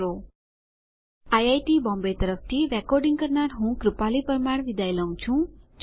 iit Bombay તરફથી spoken tutorial project માટે ભાષાંતર કરનાર હું જ્યોતી સોલંકી વિદાય લઉં છું